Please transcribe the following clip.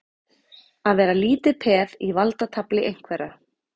Að vera lítið peð í valdatafli einhverra